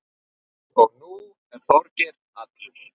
Og nú er Þorgeir allur.